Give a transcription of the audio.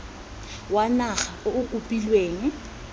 wa naga o o kopilweng